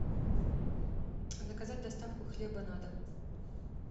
заказать доставку хлеба на дом